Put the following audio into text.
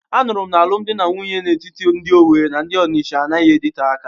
Anuru m na alụm di na nwunye dị n'etiti ndị Owerri na ndị Onitsha anaghị adịte aka.